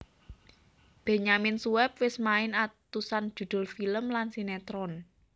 Benyamin Sueb wis main atusan judul film lan sinetron